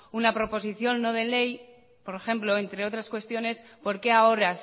una proposición no de ley por ejemplo entre otras cuestiones por qué ahora